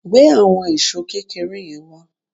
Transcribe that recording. Gbé àwọn èṣó kékeré yẹn wá